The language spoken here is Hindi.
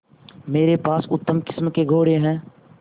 मेरे पास उत्तम किस्म के घोड़े हैं